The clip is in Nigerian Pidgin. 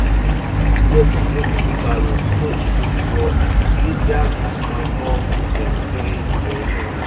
you go need repair d broken wheelbarrows so e go for easier manure movement during preparation weeks.